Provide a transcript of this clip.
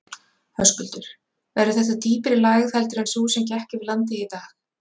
Höskuldur: Verður þetta dýpri lægð heldur en sú sem gekk yfir landið í dag?